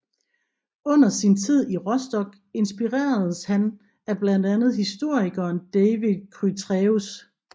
Under sin tid i Rostock inspireredes han af blandt andre historikeren David Chytraeus